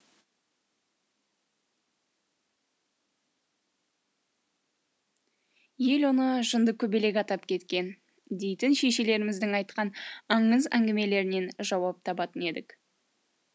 ел оны жынды көбелек атап кеткен дейтін шешелеріміздің айтқан аңыз әңгімелерінен жауап табатын едік